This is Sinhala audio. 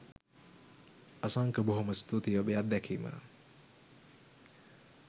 අසංක බොහොම ස්තුතියි ඔබේ අත්දැකීම